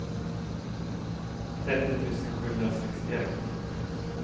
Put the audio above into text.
trettio tusen sjuhundrasextioett